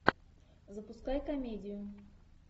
запускай комедию